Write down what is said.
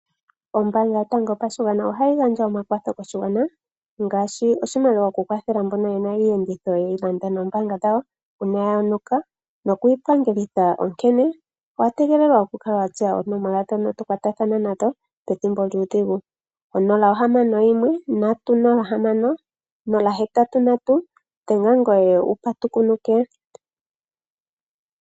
Ombaanga yotango yopashigwana ohayi gandja omakwatho koshigwana ngaashi oshimaliwa okukwathela mboka ye na iiyenditho ye yi landa noombaanga dhawo uuna ya yonuka nokuyi pangelitha, onkene owa gelelwa wu kale wa tseya oonomola ndhono to kwatathana nadho pethimbo lyuudhigu. 061 306083, dhenga ngoye wu patukunuke.